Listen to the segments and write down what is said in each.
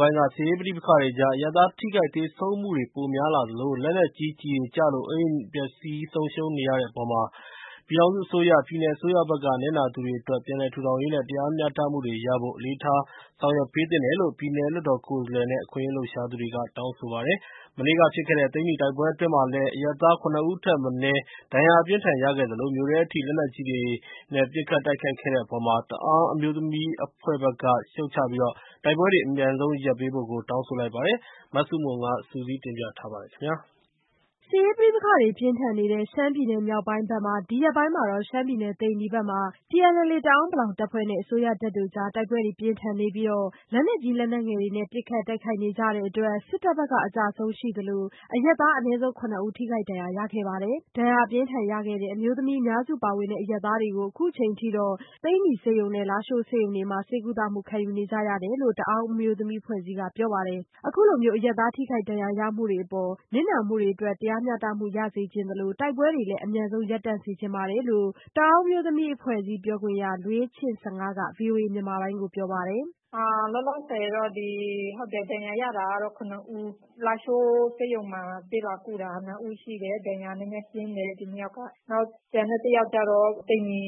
ပိုင်း က စစ်ရေးပဋိပက္ခတွေကြား အရပ်သားထိခိုက် ဒဏ်ရာရ သေဆုံးမှုတွေပိုများလာသလို အိုးအိမ်တွေပေါ် လက်နက်ကြီးကျည်တွေကျလို့ ပျက်ဆီးဆုံးရှုံးနေရတဲ့အပေါ် ပြည်ထောင်စုအစိုးရ၊ ပြည်နယ်အစိုးရဘက်က နစ်နာသူတွေအတွက် ပြန်လည်ထူထောင်ရေးနဲ့ တရားမျှတမှုတွေရဖို့ အလေးအနက်ထား ဆောင်ရွက်ပေးသင့်တယ်လို့ ပြည်နယ်လွှတ်တော်ကိုယ်စားလှယ်နဲ့ အခွင့်အရေးလှုပ်ရှားသူတွေကတောင်းဆိုပါတယ်။ မနေ့ကဖြစ်ခဲ့တဲ့ ရှမ်းမြောက်သိန္နီတိုက်ပွဲအတွင်းမှာလည်း အရပ်သားအနည်းဆုံး ၇ဦးဒဏ်ရာ အပြင်းအထန်ရခဲ့သလို မြို့ထဲအထိ လက်နက်ကြီးတွေနဲ့ ပစ်ခတ်တိုက်ခတ်တဲ့အပေါ် တအာင်းအမျိုးသမီးအဖွဲ့ဘက်က ရှုတ်ချပြီး တိုက်ပွဲတွေ အမြန်ဆုံးရပ်ပေးဖို့ တောင်းဆိုလိုက်ပါတယ်။ မဆုမွန် စုစည်းတင်ပြပေးထားပါတယ်။ စစ်ရေးပဋိပက္ခတွေပြင်းထန်နေတဲ့ ရှမ်းပြည်နယ်မြောက်ပိုင်းဘက်မှာ ဒီရက်ပိုင်းမှာတော့ ရှမ်းမြောက် သိန္နီဘက်မှာ TNLA တအာင်းပလောင်တပ်ဖွဲ့နဲ့ အစိုးရတပ်တို့ကြား တိုက်ပွဲတွေပြင်းထန်နေပြီး လက်နက်ကြီး လက်နက်ငယ်တွေနဲ့ပစ်ခတ်တိုက်ခိုက်ကြတဲ့အတွက် စစ်တပ်ဘက်က အကျဆုံးရှိသလို အရပ်သားအနည်းဆုံး ၇ဦး ထိခိုက်ဒဏ်ရာရခဲ့ပါတယ်။ ဒဏ်ရာအပြင်းထန်ရခဲ့တဲ့ အမျိုးသမီးအများစု ပါဝင်တဲ့ အရပ်သားတွေ အခုအချိန်အထိ သိန္နီဆေးရုံနဲ့ လားရှိုးဆေးရုံတွေမှာ ဆေးကုသမှုခံယူနေကြရတယ်လို့ တအာင်းအမျိုးသမီး အဖွဲ့အစည်းကပြောပါတယ်။ အခုလိုအရပ်သားထိခိုက်ဒဏ်ရာရမှုတွေအပေါ် နစ်နာမှုတွေအတွက် တရားမျှတမှုရစေချင်သလို တိုက်ပွဲတွေလည်း အမြန်ဆုံး ရပ်တန့်စေချင်ပါတယ်လို့ တအာင်းအမျိုးသမီးအဖွဲ့အစည်းပြောခွင့်ရ လွေးချစ့်ဆငါးက ဗွီအိုအေမြန်မာပိုင်းကိုပြောပါတယ်။ “လောလောဆည်တော့ ဒဏ်ရာရတာကတော့ ၇ ဦး လားရှိုးဆေးရုံမှာ ဆေးလာကုတာ ၂ ဦးရှိတယ်။ ဒဏ်ရာနည်းနည်းပြင်းထန်တယ်။ နောက်ကျန်တဲ့ ၁ ဦးက သိန္နီ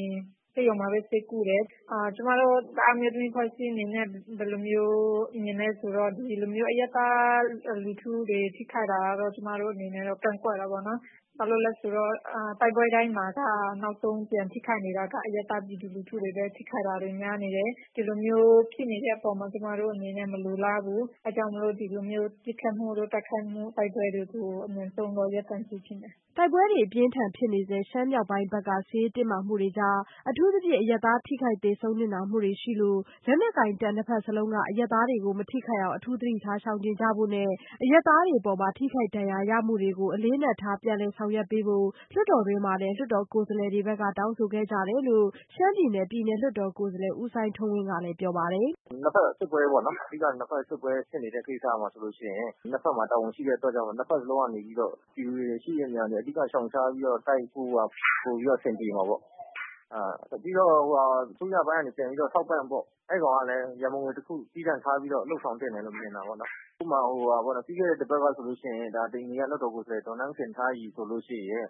ဆေးရုံမှာဆေးကုနေတယ်။ ကျမတို့ တအာင်းအမျိုးသမီးအဖွဲ့အစည်းအနေနဲ့ ဘယ်လိုမျိုးမြင်သလဲဆိုတော့ ဒီလိုအရပ်သား လူထုတွေ ထိခိုက်တာကတော့ ကျမတို့အနေနဲ့ကတော့ ကန့်ကွက်တာပေါ့နော်။ ဘာလို့လဲဆိုတော့ တိုက်ပွဲတိုင်းမှာက နောက်ဆုံးထိခိုက်နေတာက အရပ်သား ပြည်သူလူထုတွေပဲ ထိခိုက်တာတွေ များနေတယ်။ ဒီလိုဖြစ်နေတဲ့ အပေါ်မှာ ကျမတို့မလိုလားဘူး။ အဲဒါကြောင့်မို့လို့ ဒီလိုထိခိုက်မှုတိုက်ပွဲတွေကို အမြန်ဆုံးရပ်တန့်ပေးစေချင်တယ်။” တိုက်ပွဲတွေ အပြင်းထန်ဖြစ်နေဆဲ ရှမ်းမြောက်ပိုင်းဘက်က စစ်ရေးတင်းမာမှုတွေကြား အထူးသဖြင့် အရပ်သားထိခိုက် သေဆုံးနစ်နာမှုတွေရှိနေလို့ လက်နက်ကိုင်တပ် နှစ်ဘက်စလုံးက အရပ်သားတွေကို မထိခိုက်အောင် အထူးသတိထားရှောင်ကျဉ်ကြဖို့နဲ့ အရပ်သားတွေအတွက် ထိခိုက်နစ်နာခဲ့ရမှုတွေအပေါ် အလေးအနက်ထား ပြန်လည်ဆောင်ရွက်ပေးဖို့ လွှတ်တော်တွင်းမှာလည်း လွှတ်တော်ကိုယ်စားလှယ်တွေဘက်က တောင်းဆိုခဲ့ကြတယ်လိ့ု ရှမ်းပြည်နယ် ပြည်နယ်လွှတ်တော် က ကျောက်မဲကိုယ်စားလှယ် ဦးစိုင်းထွန်းဝင်းကလည်း ပြောပါတယ်။ “အဓိက ၂ ဖက်စစ်ပွဲဖြစ်နေတဲ့ကိစ္စမှာဆိုရင် ၂ ဖက်မှာ တာဝန်ရှိတဲ့အတွက်ကြောင့် ၂ ဖက်စလုံးက ပြည်သူတွေရှိတဲ့နေရာတွေ ရှောင်ရှားပြီးတော့ လုပ်ရင် ပိုပြီးတော့ အဆင်ပြေမှာပေါ့နော်။ နောက်ပြီးတော့ အစိုးရပိုင်းက ပြန်ပြီးတော့ ထောက်ပံ့ပေါ့ အဲဒါကလည်း ရန်ပုံငွေတခု သီးသန့်ထားပြီးတော့ ဦးဆောင်သင့်တယ်လို့ မြင်တာပေါ့နော်။ ဥပမာ ပြီးခဲ့တဲ့ တပတ်ကဆိုရင် သိန္နီကလွှတ်တော်ကိုယ်စားလှယ်ဆိုရင်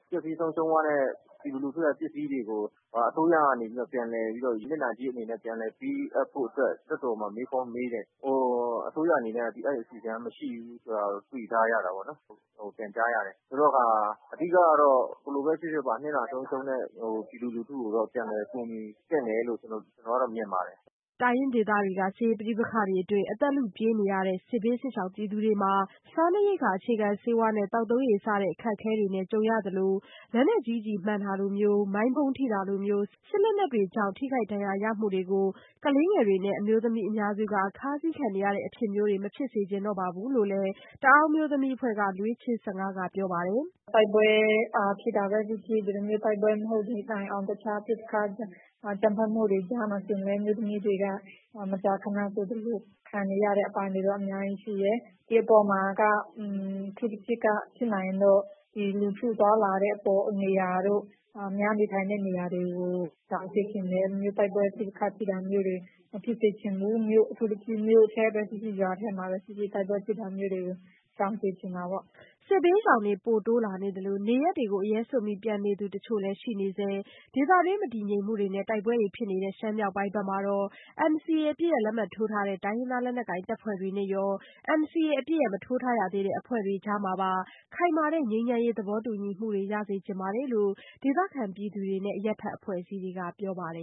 ပျက်စီး ဆုံးရှုံးသွားတဲ့ ပြည်သူလူူထုရဲ့ ပစ္စည်းတွေကို အစိုးရကနေ ပြန်လည်ပြီးတော့ နစ်နာကြေးအနေနဲ့ ပြန်ပေးဖို့အတွက် လွှတ်တော်မှာ မေးခွန်းမေးတယ်။ အစိုးရအနေနဲ့ အဲဒီအစီအစဉ်မရှိဘူးလို့ ပြောတာ ပြန်ကြားရတာပေါ့နော်။ ဆိုတဲ့အခါ အဓိကတော့ ဘယ်လိုပဲဖြစ်ဖြစ် နစ်နာဆုံးရှုံးတဲ့ပြည်သူတွေကိုတော့ ပြန်လည်ကူညီသင့်တယ်လို့ မြင်ပါတယ်။” တိုင်းရင်းဒေသတွေက စစ်ရေးပဋိပက္ခတွေအတွင်း အသက်လုပြေးရတဲ့ စစ်ဘေးစစ်ရှောင်ပြည်သူတွေ စားနပ်ရိက္ခာ အခြေခံဆေးဝါးနဲ့ သောက်သုံးရေစတဲ့ ဒုက္ခအခက်ခဲတွေနဲ့ကြုံရသလို လက်နက်ကြီးကျည်မှန်တာလိုမျိုး မိုင်းဗုံးထိတာလိုမျိုး စစ်လက်နက်တွေကြောင့် ထိခိုက်ဒဏ်ရာရမှုတွေကို ကလေးငယ်တွေနဲ့ အမျိုးသမီးအများစုက ခါးစီးခံနေရတဲ့အဖြစ်မျိုးတွေ မဖြစ်စေချင်တော့ဘူးလို့လည်း တအာင်းအမျိုးသမီးအဖွဲ့က လွေးချစ့်ဆငါးကပြောပါတယ်။ “တိုက်ပွဲဖြစ်ဖြစ် တိုက်ပွဲမဟုတ်သည့်တိုင်အောင် တခြားပစ်ခတ် တိုက်ခိုက်မှုတွေ များမယ်ဆိုရင်လည်း အမျိုးသမီးတွေက မကြာခဏဆိုရင် ခံနေရတဲ့ အပိုင်းတွေက အများကြီးရှိတယ်။ ဒီအပေါ်မှာက အထူးသဖြင့် ဖြစ်နိုင်ရင်တော့ လူထုသွားလာတဲ့နေရာတို့ အများနေထိုင်တဲ့နေရာတို့ကို ရှောင်စေချင်တယ်။ ပစ်ခတ်တိုက်ခိုက်တာတွေ မဖြစ်စေချင်ဘူး။ အထူးသဖြင့် မြို့ထဲမှာဖြစ်ဖြစ် ရွာထဲမှာဖြစ်ဖြစ် ပစ်တာတွေကို ရှောင်စေချင်တာပေါ့။” စစ်ဘေးရှောင်တွေပိုတိုးလာသလို နေရပ်တွေကို အရဲစွန့်ပြီး ပြန်နေသူတချို့လည်း ရှိနေဆဲ ဒေသတွင်းမတည်ငြိမ်မှုတွေနဲ့ တိုက်ပွဲတွေဖြစ်နေတဲ့ ရှမ်းမြောက်ပိုင်းဘက်မှာတော့ NCA အပစ်ရပ်လက်မှတ်ထိုးထားတဲ့ တိုင်းရင်းသားလက်နက်ကိုင်တပ်ဖွဲ့တွေနဲ့ရော NCA အပစ်ရပ် မထိုးထားရသေးတဲ့အဖွဲ့တွေကြားမှာပါ ခိုင်မာတဲ့ ငြိမ်းချမ်းရေးသဘောတူညီမှုတွေ ရစေချင်ပါတယ်လို့ ဒေသခံပြည်သူတွေနဲ့ အရပ်ဖက်အဖွဲ့အစည်းတွေကပြောပါတယ်